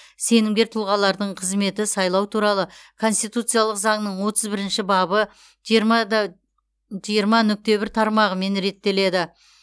сенімгер тұлғалардың қызметі сайлау туралы конституциялық заңның отыз бірінші бабы жиырма нүкте бір тармағымен реттеледі